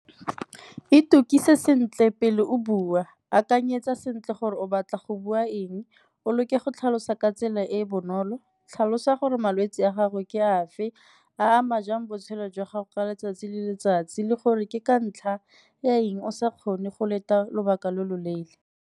Itokise sentle pele o bua, akanyetsa sentle gore o batla go bua eng, o leke go tlhalosa ka tsela e e bonolo, tlhalosa gore malwetse a gago ke afe a ama jang botshelo jwa gago ka letsatsi le letsatsi le gore ke ka ntlha ya eng o sa kgone go leta lobaka lo lo leele.